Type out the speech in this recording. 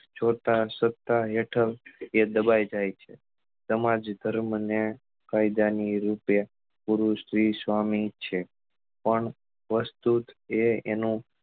જોતા સત્તા હેઠળ એ દબાઈ જાય છે સમાજ ધર્મ ને કાયદા ની રૂપે ગુરુ શ્રી સ્વામી છે પણ વસ્તુ એ તેનો